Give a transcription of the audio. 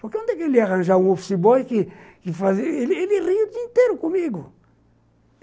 Porque onde é que ele ia arranjar um office boy que que fazia... Ele ria o dia inteiro comigo.